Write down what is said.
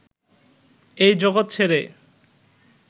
এই জগৎ ছেড়ে